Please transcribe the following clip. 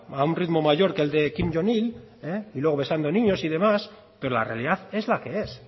a un ritmo mayor que el de y luego besando niños y demás pero la realidad es la que es